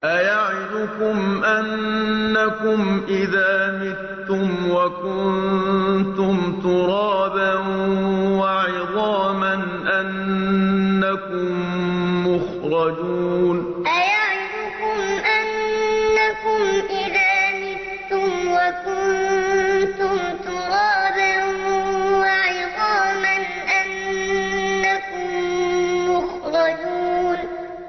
أَيَعِدُكُمْ أَنَّكُمْ إِذَا مِتُّمْ وَكُنتُمْ تُرَابًا وَعِظَامًا أَنَّكُم مُّخْرَجُونَ أَيَعِدُكُمْ أَنَّكُمْ إِذَا مِتُّمْ وَكُنتُمْ تُرَابًا وَعِظَامًا أَنَّكُم مُّخْرَجُونَ